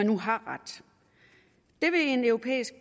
nu har ret det vil en europæisk